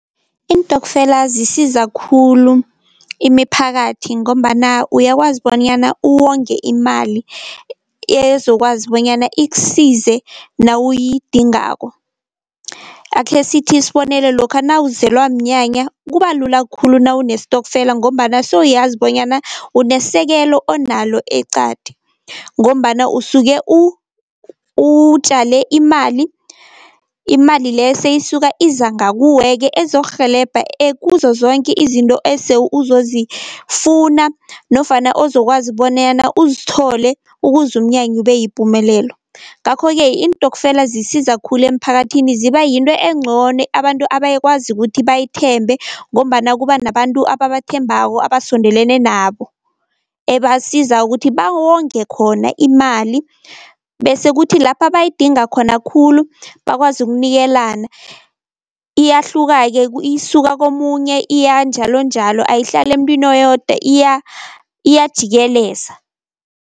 Iintokfela zisiza khulu imiphakathi, ngombana uyakwazi bonyana uwonge imali ezokwazi bonyana ikusize nawuyidingako. Akhe sithi isibonelo lokha nawuzelwa mnyanya kuba lula khulu nawu nesitokfela, ngombana sewuyazi bonyana unesekelo onalo eqadi, ngombana usuke utjale imali, imali leyo seyisuka iza ngakuwe-ke ezokurhelebha kuzo zonke izinto ese uzozifuna nofana ozokwazi bonyana uzithole ukuze umnyanya ube yipumelelo. Ngakho-ke iintokfela zisiza khulu emphakathini ziba yinto encono abantu abayikwazi ukuthi bayithembe, ngombana kuba nabantu ababathembako, abasondelene nabo ebasiza ukuthi bawonge khona imali. Bese kuthi lapha bayadinga khona khulu bakwazi ukunikelana, iyahluka-ke isuka komunye iya njalonjalo ayihlali emntwini oyodwa iyajikeleza.